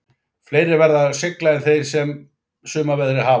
Fleiri verða að sigla en þeir sem sumarveðrið hafa.